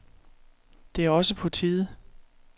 Det er også på tide.